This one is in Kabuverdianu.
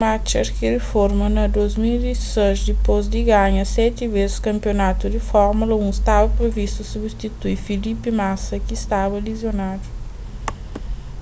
schumacher ki riforma na 2006 dipôs di ganha seti bês kanpionatu di fórmula 1 staba privistu substitui felipe massa ki staba lizionadu